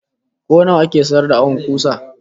Ko nawa ake sayar da awon kusa?